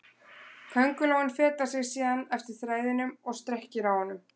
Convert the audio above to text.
Köngulóin fetar sig síðan eftir þræðinum og strekkir á honum.